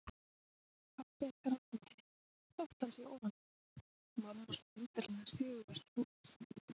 Pabbi er grátandi þótt hann sé ofan á, mamma svo undarlega sigurviss og æst.